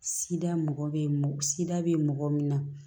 Sida mɔgɔ bɛ sida bɛ mɔgɔ min na